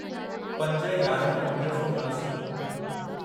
पंज यारहं उणिवीह सौ उणासी